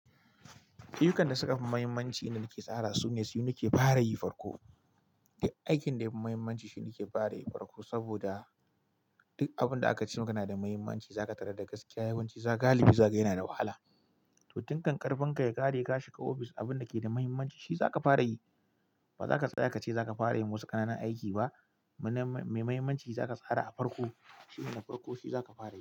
Ayyukan da suka fi mahimmanci da naki tsara su ne su nike fara yi farko. Aikin da ya fi mahimmanci shine nike fara yi farko saboda duk abun da aka ce muka na da mahimmanci za ka tarar da gaskiya yawanci galibi za ka gani yana da wahala. To tin kan ƙarfin ka ya ƙare ka shiga ofis abun da ke da mahimmanci shi za ka fara yi. Ba za ka tsaya ka ce za ka fara yin wasu ƙananun aiki ba. Mana mai mahimmanci za ka tsara a farko. Shine na farko shi za ka fara yi.